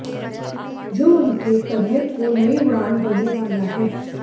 जो उनके करियर को नई उड़ान देने वाला है